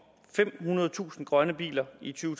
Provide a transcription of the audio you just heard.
femhundredetusind grønne biler i to